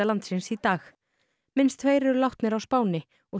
landsins í dag minnst tveir eru látnir á Spáni og